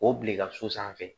O bila i ka so sanfɛ